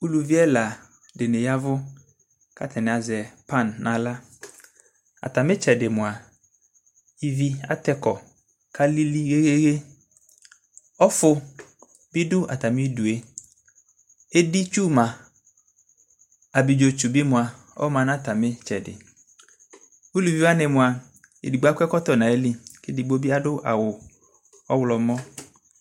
ʋlʋvi ɛladiniyavʋ kʋ atani azɛ pan nʋ ala, atami itsɛdi mʋa ivi atɛ kɔ kʋ alili yɛyɛyɛ, ɔƒʋ bi dʋ atami idʋɛ, ɛdi twʋ ma, abidzɔ twʋ bi ma, ɔma nʋ atami itsɛdi, ʋlʋvi wani mʋa ɛdigbɔ akɔ ɛkɔtɔ nʋ ayili kʋ ɛdigbɔ bi adʋ awʋ ɔwlɔmɔ